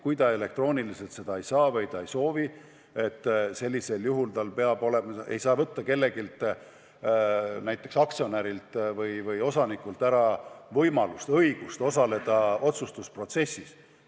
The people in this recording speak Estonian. Kui inimene elektrooniliselt osaleda ei saa või ei soovi, siis ei saa näiteks aktsionärilt või osanikult ära võtta õigust otsustusprotsessis ikkagi osaleda.